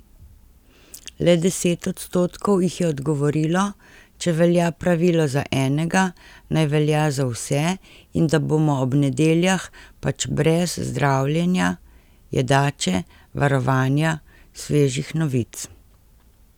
Le deset odstotkov jih je odgovorilo, če velja pravilo za enega, naj velja za vse in da bomo ob nedeljah pač brez zdravljenja, jedače, varovanja, svežih novic.